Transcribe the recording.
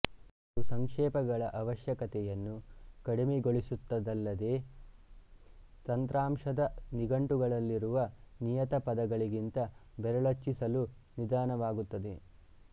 ಇದು ಸಂಕ್ಷೇಪಗಳ ಅವಶ್ಯಕತೆಯನ್ನು ಕಡಿಮೆಗೊಳಿಸುತ್ತದಲ್ಲದೇ ತಂತ್ರಾಂಶದ ನಿಘಂಟುನಲ್ಲಿರುವ ನಿಯತ ಪದಗಳಿಗಿಂತ ಬೆರಳಚ್ಚಿಸಲು ನಿಧಾನವಾಗುತ್ತದೆ